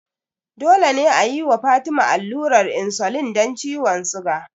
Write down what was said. Dole ne a yi wa Fatima allurar insulin don ciwon suga.